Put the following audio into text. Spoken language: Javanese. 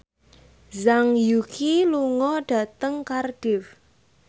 Zhang Yuqi lunga dhateng Cardiff